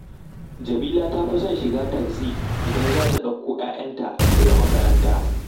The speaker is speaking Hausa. Jamila ta fi son shiga taxi idan za ta ɗauko ‘ya’yanta daga makaranta